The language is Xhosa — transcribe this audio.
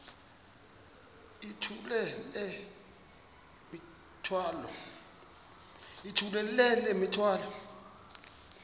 yithula le mithwalo